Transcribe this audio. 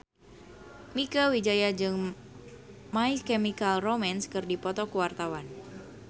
Mieke Wijaya jeung My Chemical Romance keur dipoto ku wartawan